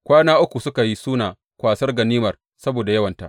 Kwana uku suka yi suna kwasar ganimar saboda yawanta.